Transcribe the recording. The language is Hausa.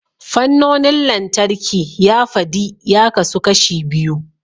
Fannonin lantarki ya fadi ya kasu kashi biyu.